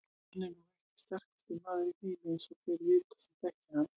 Hann er nú ekki sterkasti maður í heimi eins og þeir vita sem þekkja hann.